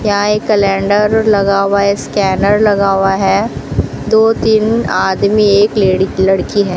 यहां एक कैलेंडर लगा हुआ है स्कैनर लगा हुआ है दो तीन आदमी एक ल लड़की है।